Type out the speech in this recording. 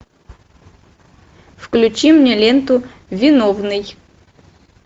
включи мне ленту виновный